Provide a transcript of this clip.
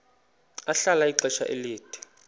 ahlala ixesha elide